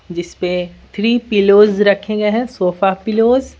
जिस पे three pillows रखे गए हैं सोफा पिलोज --